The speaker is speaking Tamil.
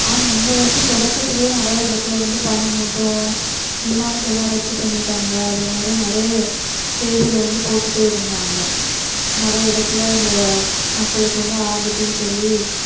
ஆமா இந்த வருஷ தொடக்கதிலேயே நிறைய இடத்துல வந்து பனி மூட்டம் விமானத்தையெல்லாம் ரத்து பண்ணிட்டாங்க அதே மாதிரி நிறைய செய்தில வந்து போட்டுட்டே இருந்தாங்க நிறைய இடத்துல இந்த மக்களுக்கு வந்து ஆபத்துனு சொல்லி